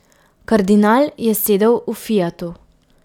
Kardinal je sedel v fiatu.